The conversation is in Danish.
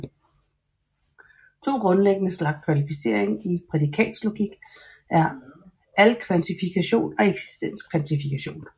To grundlæggende slags kvantificering i prædikatslogik er alkvantifikation og eksistenskvantifikation